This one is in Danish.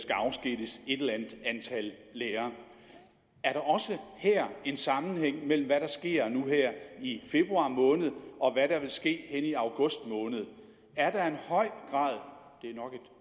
skal afskediges et eller andet antal lærere er der også her en sammenhæng mellem hvad der sker nu her i februar måned og hvad der vil ske hen i august måned er der en høj grad det er nok